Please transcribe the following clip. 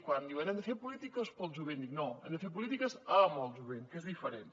quan diuen hem de fer polítiques per al jovent dic no hem de fer polítiques amb el jovent que és diferent